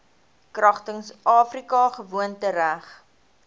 kragtens afrika gewoontereg